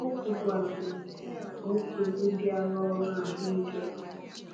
O kwukwara na ihe a bụ nsogbụ dịara ọrụ ahụike.